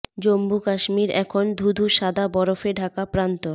জম্মু কাশ্মীর এখন ধু ধু সাদা বরফে ঢাকা প্রান্তর